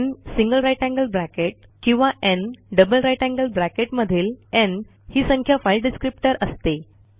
न् GT किंवा न् GT GT मधील न् ही संख्या फाइल डिस्क्रिप्टर असते